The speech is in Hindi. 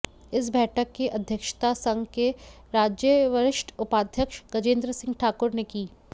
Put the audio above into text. इस बैठक की अध्यक्षता संघ के राज्य वरिष्ठ उपाध्यक्ष गजेंद्र सिंह ठाकुर ने की